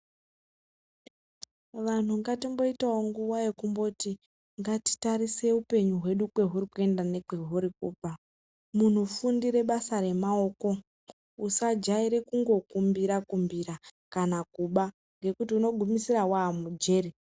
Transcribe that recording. Vanhu ngatimbo itawo nguva yekumboti ngati tarise upenyu hwedu kwe huri kuenda nekwe huri kubva muno fundire basa re maoko usa jaire kungo kumbira kumbira kana kuba ngekuti uno gumisira wa mujeri.